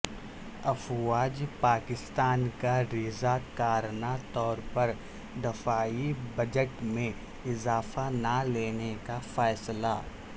افواج پاکستان کا رضا کارانہ طور پر دفاعی بجٹ میں اضافہ نہ لینے کا فیصلہ